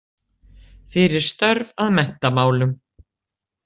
Fyrir störf að menntamálum.